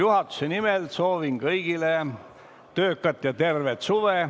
Juhatuse nimel soovin kõigile töökat ja tervet suve.